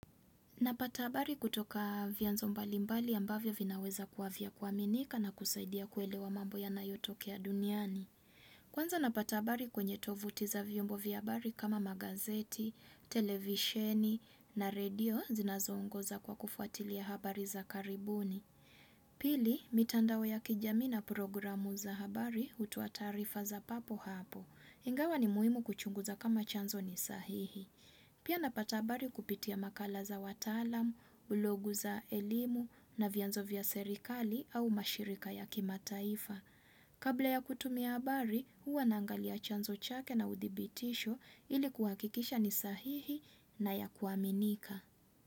Napata habari kutoka vyanzo mbalimbali ambavyo vinaweza kuwa vya kuaminika na kusaidia kuelewa mambo yanayotokea duniani. Kwanza napata habari kwenye tovuti za vyombo vya habari kama magazeti, televisheni na radio zinazongoza kwa kufuatilia habari za karibuni. Pili, mitandao ya kijami na programu za habari hutoa taarifa za papo hapo. Ingawa ni muhimu kuchunguza kama chanzo ni sahihi. Pia napata habari kupitia makala za wataalam, blogu za elimu na vyanzo vya serikali au mashirika ya kimataifa. Kabla ya kutumia habari, huwa naangalia chanzo chake na udhibitisho ili kuhakikisha ni sahihi na ya kuaminika.